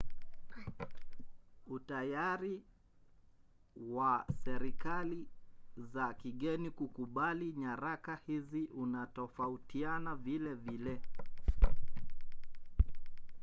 utayari wa serikali za kigeni kukubali nyaraka hizi unatofautiana vilevile